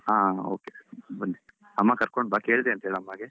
ಹಾ okay ಬನ್ನಿ ಅಮ್ಮ ಕರ್ಕೊಂಡು ಬಾ, ಕೇಳ್ದೆ ಹೇಳು ಅಮ್ಮಗೆ.